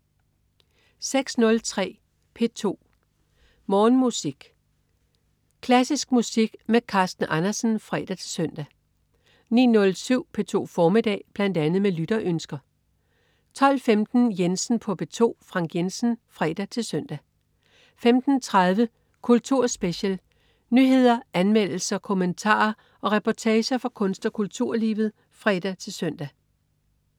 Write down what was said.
06.03 P2 06.03 P2 Morgenmusik. Klassisk musik med Carsten Andersen (fre-søn) 09.07 P2 formiddag. Bl.a. med lytterønsker 12.15 Jensen på P2. Frank Jensen (fre-søn) 15.30 Kultur special. Nyheder, anmeldelser, kommentarer og reportager fra kunst- og kulturlivet (fre-søn)